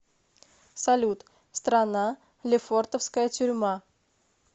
салют страна лефортовская тюрьма